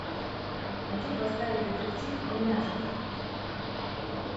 хочу поставить детектив племяшка